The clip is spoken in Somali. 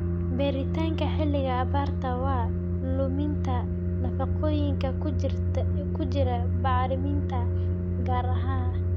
beeritaanka xilliga abaarta waa: luminta nafaqooyinka ku jira bacriminta gaar ahaan